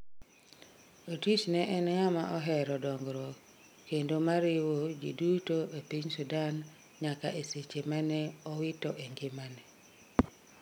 Otis ne en ng'ama oero dongruok kendo ma riwo ji duro e piny Sudan nyaka eseche mane owito engimane